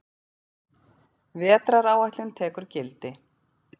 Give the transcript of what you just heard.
Vetraráætlun tekur gildi